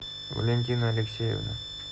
валентина алексеевна